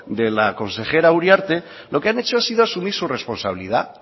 de la consejera uriarte lo que han hecho es asumir su responsabilidad